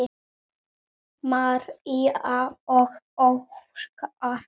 María og Óskar.